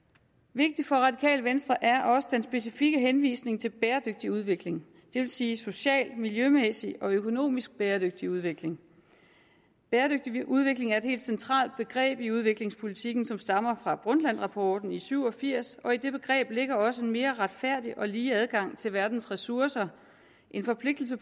vigtigt for radikale venstre er også den specifikke henvisning til bæredygtig udvikling det vil sige socialt miljømæssigt og økonomisk bæredygtig udvikling bæredygtig udvikling er et helt central begreb i udviklingspolitikken som stammer fra brundtlandrapporten syv og firs og i det begreb ligger også en mere retfærdig og lige adgang til verdens ressourcer en forpligtelse